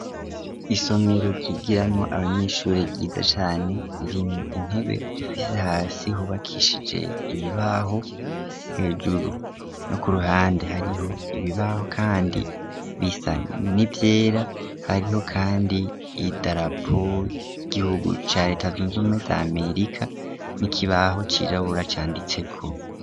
Isomero ryigiramwo abanyeshuri ryiza cane ririmwo intebe zifise hasi hubakishije ibibaho hejuru no kuruhande hariho ibibaho Kandi bisa ni vyera hariho Kandi idarapo ry'igihugu ca reta zunze ubumwe z'Amerika n'ikibaho cirabura canditseko.